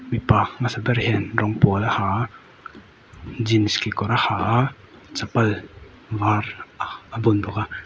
mipa hmasa ber hian rawng pawl a ha a jeans kekawr a ha a chapal var a bun bawk a.